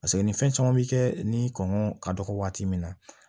Paseke ni fɛn caman bi kɛ ni kɔngɔ ka dɔgɔ waati min na